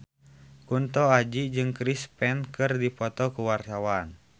Kunto Aji jeung Chris Pane keur dipoto ku wartawan